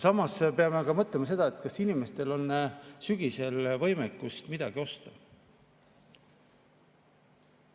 Samas me peame mõtlema, kas inimestel on sügisel võimekust midagi osta.